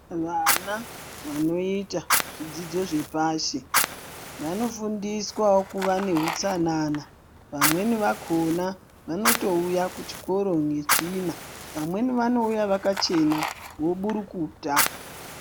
Vana vanoita zvidzidzo zvepashi vanofundiswawo kuva neutsanana. Vamweni vakhona vanotouya kuchikora netsvina. Vamweni vanouya kuchikora vakachena voburukuta.